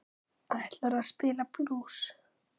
Ætlarðu að spila blús?